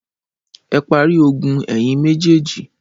Ẹ parí ogun ẹ̀yin méjèèjì!